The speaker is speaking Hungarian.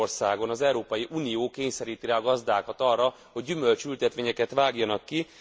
Magyarországon az Európai Unió kényszeríti rá a gazdákat arra, hogy gyümölcsültetvényeket vágjanak ki.